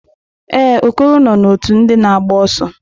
Ee, Okoro nọ na ọtú ndị na agba ọsọ.